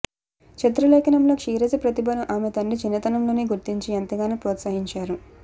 చిత్రలేఖనంలో క్షీరజ ప్రతిభను ఆమె తండ్రి చిన్నతనంలోనే గుర్తించి ఎంతగానో ప్రోత్సహించారు